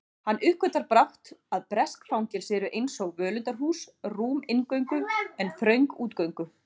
Hann uppgötvar brátt að bresk fangelsi eru einsog völundarhús, rúm inngöngu en þröng útgöngu